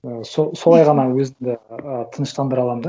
ііі солай ғана өзімді ы тыныштандыра аламын да